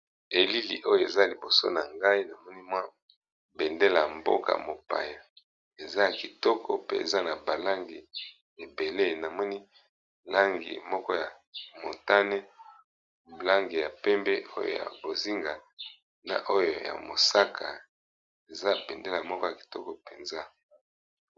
Elili oyo eza liboso na ngai namoni mwa bendela y mboka mopaya eza a kitoko peza na balangi ebele namoni langi moko ya montane blange ya pembe oyo ya bozinga na oyo ya mosaka eza bendela moko ya kitoko mpenza.